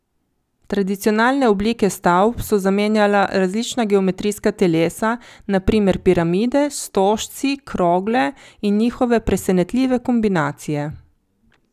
Tradicionalne oblike stavb so zamenjala različna geometrijska telesa, na primer piramide, stožci, krogle, in njihove presenetljive kombinacije.